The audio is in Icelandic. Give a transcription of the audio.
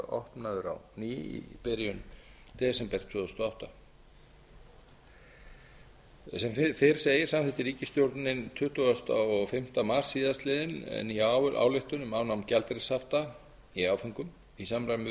opnaður á ný í byrjun desember tvö þúsund og átta sem fyrr segir samþykkti ríkisstjórnin tuttugasta og fimmta meira að segja síðastliðinn nýja ályktun um afnám gjaldeyrishafta í áföngum í samræmi við